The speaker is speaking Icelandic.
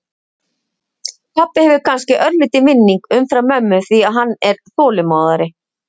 Pabbi hefur kannski örlítinn vinning umfram mömmu því að hann er þolinmóðari.